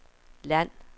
land